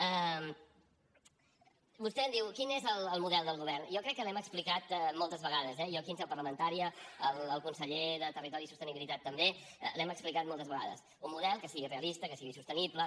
vostè em diu quin és el model del govern jo crec que l’hem explicat moltes vegades eh jo aquí en seu parlamentària el conseller de territori i sostenibilitat també l’hem explicat moltes vegades un model que sigui realista que sigui sostenible